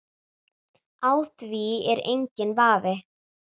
Á því er enginn vafi.